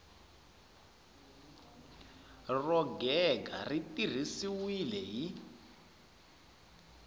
ro gega ri tirhisiwile hi